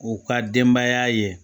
U ka denbaya ye